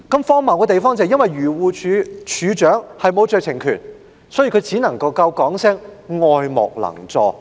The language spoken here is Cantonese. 荒謬的是，漁護署署長由於沒有酌情權，所以只能表示愛莫能助。